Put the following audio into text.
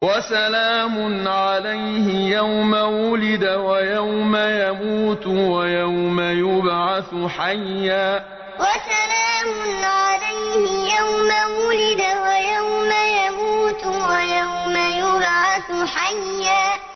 وَسَلَامٌ عَلَيْهِ يَوْمَ وُلِدَ وَيَوْمَ يَمُوتُ وَيَوْمَ يُبْعَثُ حَيًّا وَسَلَامٌ عَلَيْهِ يَوْمَ وُلِدَ وَيَوْمَ يَمُوتُ وَيَوْمَ يُبْعَثُ حَيًّا